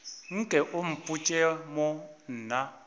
nke o mpotše mo na